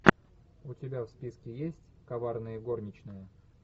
у тебя в списке есть коварные горничные